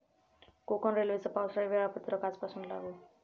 कोकण रेल्वेचं पावसाळी वेळापत्रक आजपासून लागू